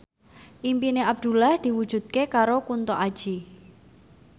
impine Abdullah diwujudke karo Kunto Aji